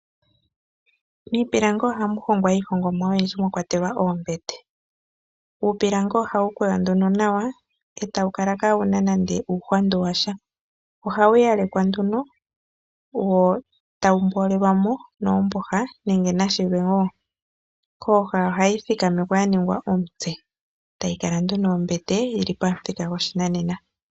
Miipilangi ohamu hongwa iihongomwa oyindji mwakwatelwa oombete. Uupilangi ohawu kwewa nduno nawa e tawu kala kaawuna nande uuhwandu washa. Ohawu yalekwa nduno wo tawu mboolelwa mo noombooha nenge nashilwe wo. Kooha ohayi thikamekwa ya ningwa omutse tayi kala nduno ombete yili pamuthika gwoshinanena.